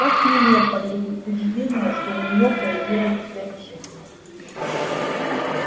как нелепо их утверждение что у нее появилась цель жизни